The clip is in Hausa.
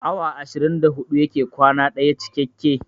Awa ashirin da huɗu yake kwana ɗaya cikakke